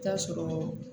T'a sɔrɔ